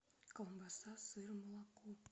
колбаса сыр молоко